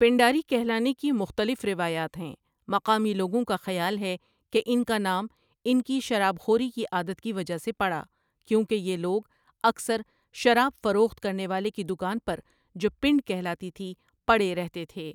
پنڈاری کہلانے کی مختلف روایات ہیں مقامی لوگوں کا خیال ہے کہ ان کا نام ان کی شراب خوری کی عادت کی وجہ سے پڑا کیوں کہ یہ لوگ اکثر شراب فروخت کرنے والے کی دکان پر جو پنڈ کہلاتی تھی پڑے رہتے تھے